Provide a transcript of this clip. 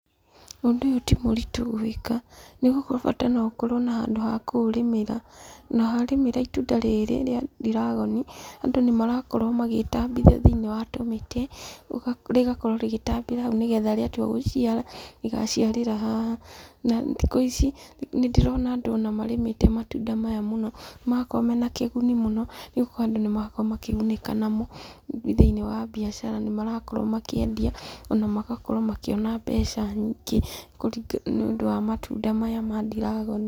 Ũndũ ũyũ timũritũ gwĩka, nĩgũkorwo bata noũkorwo na handũ ha kũũrĩmĩra. Na warĩmĩra itunda rĩrĩ rĩa ndiragoni, andũ nĩmarakorwo matambithia thĩinĩ wa tũmĩtĩ, rĩgakorwo rĩgĩtambĩra hau nĩgetha rĩatua gũciara, rĩgaciarĩra haha. Na athikũ ici, nĩndĩrona andũ ona marĩmĩte matunda maya mũno. Marakorwo mena kĩguni mũno, nĩgũkorwo andũ nĩmarakorwo makĩgunĩka namo, thĩinĩ wa biacara nĩmarakorwo makĩendia, ona magakorwo makĩona mbeca nyingĩ nĩũndũ wa matunda maya ma ndiragoni.